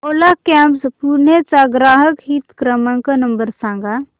ओला cabs Pune चा ग्राहक हित क्रमांक नंबर सांगा